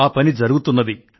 ఆ పని జరుగుతున్నది